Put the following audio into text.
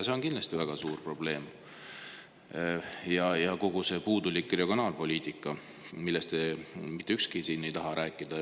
See on kindlasti väga suur probleem, nagu ka kogu see puudulik regionaalpoliitika, millest siin mitte ükski teist rääkida ei taha.